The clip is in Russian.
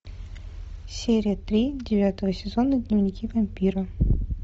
серия три девятого сезона дневники вампира